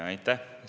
Aitäh!